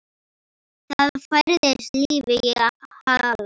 Það færðist líf í Halla.